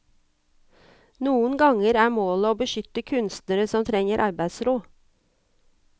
Noen ganger er målet å beskytte kunstnere som trenger arbeidsro.